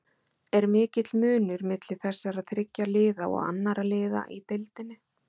Er mikill munur milli þessara þriggja liða og annarra liða í deildinni?